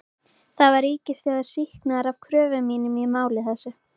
Þar var ríkissjóður sýknaður af kröfum mínum í máli þessu.